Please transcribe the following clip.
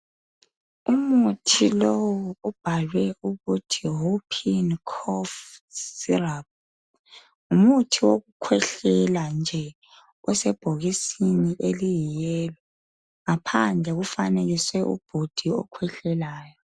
Umuthi lowu ubhalwe ukuthi huphingi khofu siraphu, ngumuthi wokukhwehlela nje osebhokisini eliyiyelo. Ngaphandle kufanekiswe ubhudi okhwehlelayo.